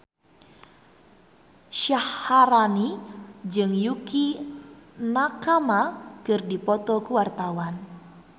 Syaharani jeung Yukie Nakama keur dipoto ku wartawan